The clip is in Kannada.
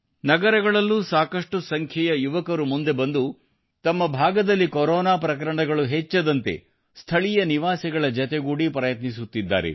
ನಗರಗಳಲ್ಲೂ ಸಾಕಷ್ಟು ಸಂಖ್ಯೆಯ ಯುವಕರು ಮುಂದೆ ಬಂದು ತಮ್ಮ ಭಾಗದಲ್ಲಿ ಕೊರೋನಾ ಪ್ರಕರಣಗಳು ಹೆಚ್ಚದಂತೆ ಸ್ಥಳೀಯ ನಿವಾಸಿಗಳ ಜತೆಗೂಡಿ ಪ್ರಯತ್ನಿಸುತ್ತಿದ್ದಾರೆ